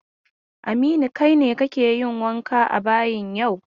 Aminu, kai ne kake wanke a bayin yau!